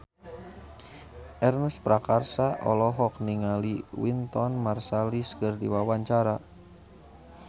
Ernest Prakasa olohok ningali Wynton Marsalis keur diwawancara